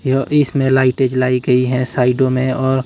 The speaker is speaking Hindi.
यह इसमें लाइटे जलाई गई है साइडों में और--